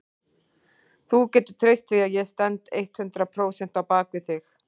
Þú getur treyst því að ég stend eitthundrað prósent á bak við þig.